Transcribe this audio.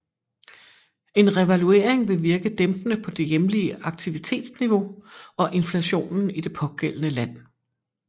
En revaluering vil virke dæmpende på det hjemlige aktivitetsniveau og inflationen i det pågældende land